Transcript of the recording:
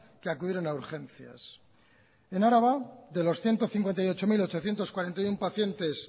que acudieron a urgencias en araba de los ciento cincuenta y ocho mil ochocientos cuarenta y uno pacientes